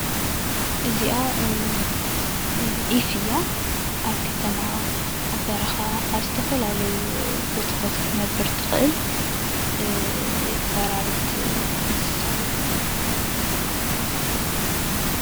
እዚኣ ዒፍ እያ ኣብ ከተማ ኣብ በረካ ኣብ ዝተፈላለዩ ቦታታት ክትነብር እትክእል በራሪት እንስሳ እያ፡፡